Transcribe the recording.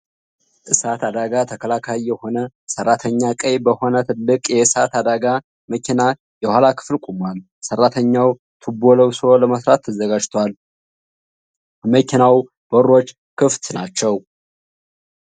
እሳት አደጋ ተከላካይ የሆነ ሰራተኛ ቀይ በሆነ ትልቅ የእሳት አደጋ መኪና የኋላ ክፍል ቆሟል። ሰራተኛው ቱቦ ለብሶ ለመስራት ተዘጋጅቷል፤ የመኪናው በሮች ክፍት ናቸው።